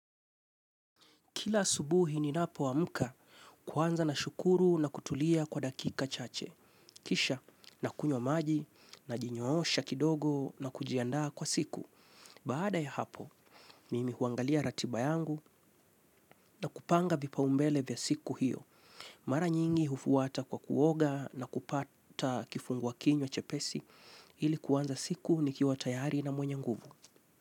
Kila asubuhi ninapo amka kwanza na shukuru na kutulia kwa dakika chache. Kisha na kunywa maji na jinyoosha kidogo na kujiandaa kwa siku. Baada ya hapo, mimi huangalia ratiba yangu na kupanga vipa umbele vya siku hiyo. Mara nyingi hufuata kwa kuoga na kupata kufungua kinywa chepesi ili kuanza siku nikiwa tayari na mwenye nguvu.